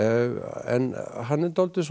en hann er dálítið